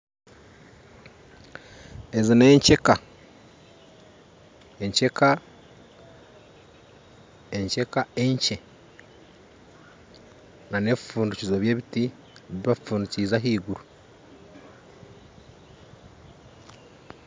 Ezi nekyeka ekyeka enkye nana bifundikizo by'ekibiti bibafundikize ahaiguru